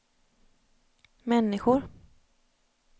människor